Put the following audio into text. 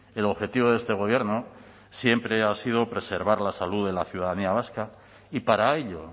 el objetivo de este gobierno siempre ha sido preservar la salud de la ciudadanía vasca y para ello